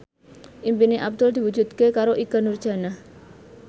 impine Abdul diwujudke karo Ikke Nurjanah